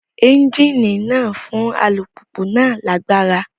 Ẹ́ńjíìnì náà ń fún alùpùpù náà lágbára